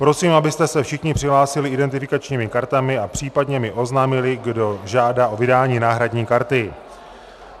Prosím, abyste se všichni přihlásili identifikačními kartami a případně mi oznámili, kdo žádá o vydání náhradní karty.